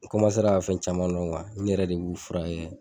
N Kɔmasera ka fɛn caman dɔn kuwa n yɛrɛ de b'u furakɛ